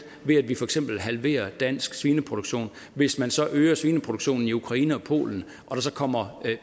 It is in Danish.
ved at vi for eksempel halverer dansk svineproduktion hvis man så øger svineproduktionen i ukraine og polen og der så kommer